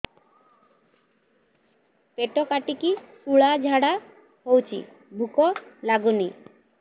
ପେଟ କାଟିକି ଶୂଳା ଝାଡ଼ା ହଉଚି ଭୁକ ଲାଗୁନି